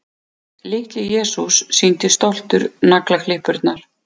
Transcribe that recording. Litli-Jesús sýndi stoltur naglaklippurnar.